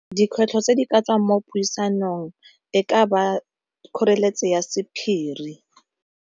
Dikgwetlho tse di ka tswang mo puisanong e ka ba kgoreletso ya sephiri.